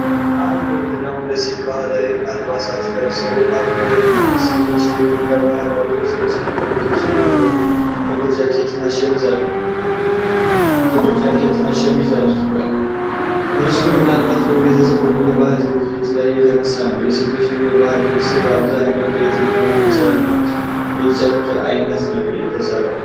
አንድ ወንድና ሁለት ሴቶች ባህላዊ አልባሳት ለብሰው አብረው ቆመዋል። ሴቶቹ የኢትዮጵያን ባህላዊ ልብሶች የለበሱ ሲሆን፣ ወንዱ ጥቁር ጃኬትና ሸሚዝ አድርጓል። ምስሉ ምናልባትም በቤተሰብ ወይም በባህል ዝግጅት ላይ የተነሳ ነው። የሴቶቹ የባህል ልብሶች በአብዛኛው ከየትኛው የጨርቅ ዓይነት ነው የሚሰሩት?